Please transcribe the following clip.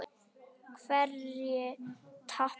Hverjir tapa?